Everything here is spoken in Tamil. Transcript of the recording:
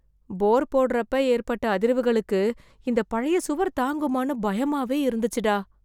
போர் போடறப்போ ஏற்பட்ட அதிர்வுகளுக்கு, இந்த பழைய சுவர் தாங்குமான்னு பயமாவே இருந்துச்சுடா.